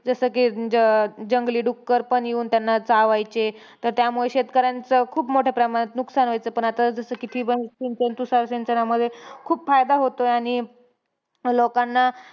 जसं की, जं अं जंगली डुक्कर पण येऊन त्यांना चावायचे. तर त्यामुळे शेतकऱ्यांचं खूप मोठ्या प्रमाणात नुकसान व्हायचं. पण आता जसं की ठिबक सिंचन-तुषार सिंचनामध्ये खूप फायदा होतोय, आणि लोकांना,